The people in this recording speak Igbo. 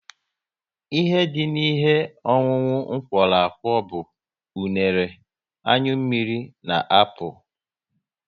Ihe dị n'ihe ọṅụṅụ m kworo akwo bụ unere, anyụ mmiri na apụl